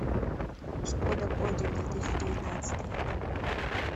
шкода кодиак две тысячи девятнадцатый